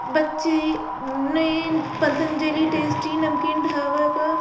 बच्चे ने पतंजलि टेस्टी नमकीन ढावर का--